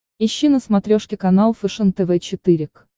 ищи на смотрешке канал фэшен тв четыре к